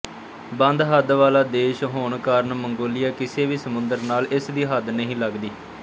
ਬੰਦਹੱਦ ਵਾਲਾ ਦੇਸ਼ ਹੋਣ ਕਾਰਨ ਮੰਗੋਲੀਆ ਕਿਸੇ ਵੀ ਸਮੁੰਦਰ ਨਾਲ ਇਸਦੀ ਹੱਦ ਨਹੀਂ ਲੱਗਦੀ